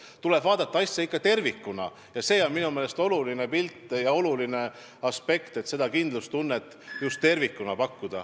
Asja tuleb ikka vaadata tervikuna ja minu meelest on oluline aspekt, et me soovime seda kindlustunnet just tervikuna pakkuda.